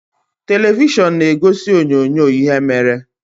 Televishọn na-egosi onyoonyo ihe mere.